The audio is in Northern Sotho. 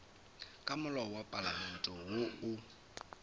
ka molao wa palamente woo